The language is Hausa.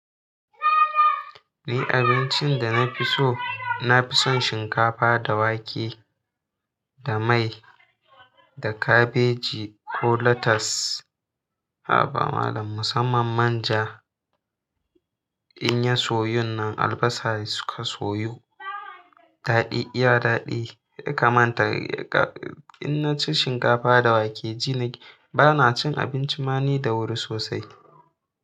Ni abincin da na fi so, na fi son shinkafa da wake da mai da kabeji ko latas. Ha ba malam, musamman man ja. In ya soyu nan albasa suka soyu. Daɗi, iya daɗi. Kamanta, in na ci shinkafa da wake ji na ƙi. Ba na cin abinci mani da wuri sosai.